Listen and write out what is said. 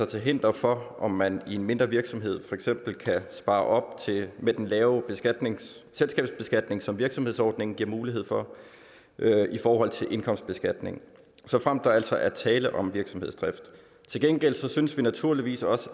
til hinder for om man i en mindre virksomhed for eksempel kan spare op med den lave selskabsbeskatning som virksomhedsordningen giver mulighed for i forhold til indkomstbeskatning såfremt der altså er tale om virksomhedsdrift til gengæld synes vi naturligvis også